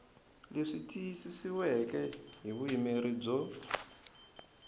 leswi tiyisisiweke hi vuyimeri byo